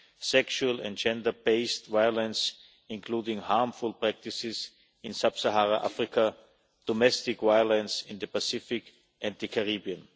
Asia, sexual and gender based violence, including harmful practices, in sub Saharan Africa, domestic violence in the Pacific and the Caribbean.